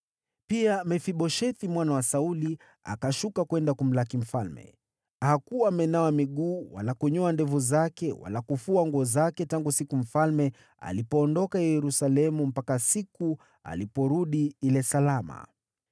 Pia Mefiboshethi mwana wa Sauli akashuka kwenda kumlaki mfalme. Hakuwa amenawa miguu wala kunyoa ndevu zake wala kufua nguo zake tangu siku mfalme alipoondoka Yerusalemu mpaka siku aliporudi ile salama.